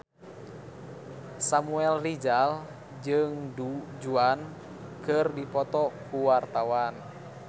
Samuel Rizal jeung Du Juan keur dipoto ku wartawan